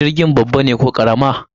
Jirgin babba ne ko karama?